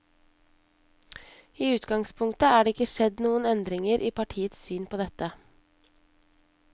I utgangspunktet er det ikke skjedd noen endringer i partiets syn på dette.